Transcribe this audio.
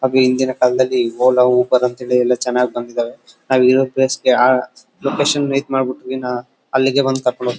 ಅದು ಇಂದಿನ ಕಾಲದಲ್ಲಿ ಓಲಾ ಉಬರ್ ಅಂತ ಎಲ್ಲಾ ಚನಾಗಿ ಬಂದಿದಾವೆ ನಾವ್ ಇರೋ ಪ್ಲೇಸಿಗೆ ಲೊಕೇಶನ್ ಇದ್ ಮಾಡ್ಬಿಟ್ರೇ ಅಲ್ಲಿಗೆ ಬಂದು ಕರ್ಕೊಂಡ್ ಹೋಗ್ತಾರೆ .